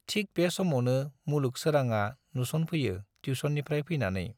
थिक बे समावनो मुलुग सोराङा नुस'नफैयो टिउस'ननिफ्राय फैनानै।